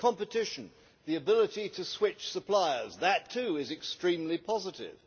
competition the ability to switch suppliers that too is extremely positive